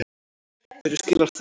Hverju skilar það?